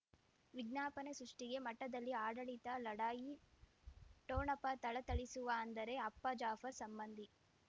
ವಿಜ್ಞಾಪನೆ ಸೃಷ್ಟಿಗೆ ಮಠದಲ್ಲಿ ಆಡಳಿತ ಲಢಾಯಿ ಠೊಣಪ ಥಳಥಳಿಸುವ ಅಂದರೆ ಅಪ್ಪ ಜಾಫರ್ ಸಂಬಂಧಿ